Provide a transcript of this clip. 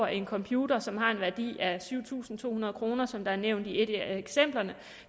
en computer som har en værdi af syv tusind to hundrede kr som der er nævnt i et af eksemplerne